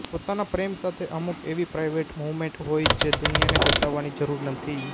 પોતાના પ્રેમ સાથે અમુક એવી પ્રાઈવેટ મૂવમેન્ટ હોય જે દુનિયાને બતાવવાની જરૂર નથી